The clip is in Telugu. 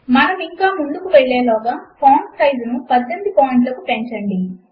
మనము ఇంకా ముందుకు వెళ్ళే లోగా ఫాంట్ సైజును 18 పాయింట్లకు పెంచండి